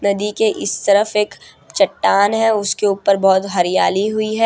नदी के इस तरफ एक चट्टान है उसके ऊपर बहोत हरियाली हुई है।